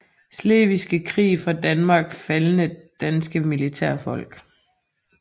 Slesvigske Krig fra Danmark Faldne danske militærfolk